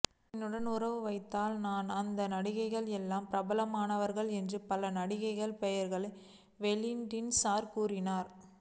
என்னுடன் உறவு வைத்ததால் தான் அந்த நடிகைகள் எல்லாம் பிரபலமானார்கள் என்று பல நடிகைகளின் பெயர்களை வெயின்ஸ்டீன் கூறினார்